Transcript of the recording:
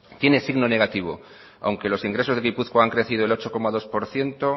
tiene signo negativo aunque los ingresos de gipuzkoa han crecido el ocho coma dos por ciento